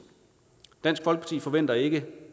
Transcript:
dansk folkeparti forventer ikke